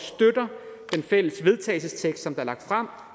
vil se